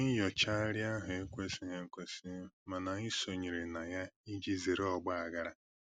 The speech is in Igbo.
Oke nnyochagharị ahụ ekwesịghị ekwesị, ma anyị sonyere na ya iji zere ọgbaghara